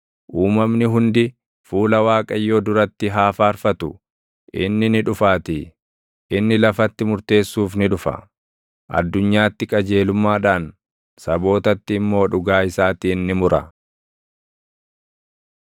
Uumamni hundi fuula Waaqayyoo duratti haa faarfatu; inni ni dhufaatii; inni lafatti murteessuuf ni dhufa. Addunyaatti qajeelummaadhaan, sabootatti immoo dhugaa isaatiin ni mura.